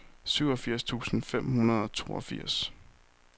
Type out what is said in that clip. syvogfirs tusind fem hundrede og toogfirs